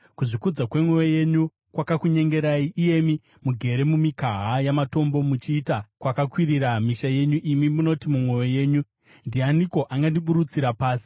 Kuzvikudza kwemwoyo yenyu kwakakunyengerai, iyemi mugere mumikaha yamatombo muchiita kwakakwirira misha yenyu, imi munoti mumwoyo yenyu, ‘Ndianiko angandiburutsira pasi?’